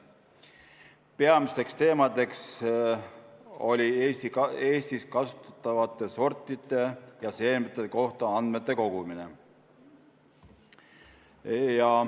Peamine teema oli Eestis kasutatavate sortide ja seemnete kohta andmete kogumine.